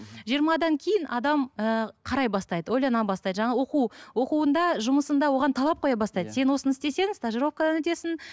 жиырмадан кейін адам ііі қарай бастайды ойлана бастайды жаңағы оқу оқуында жұмысында оған талап қоя бастайды сен осыны істесең стажировкадан өтесің